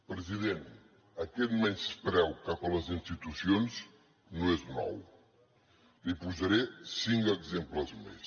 president aquest menyspreu cap a les institucions no és nou li’n posaré cinc exemples més